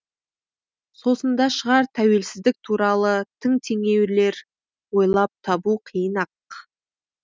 сосын да шығар тәуелсіздік туралы тың теңеулер ойлап табу қиын ақ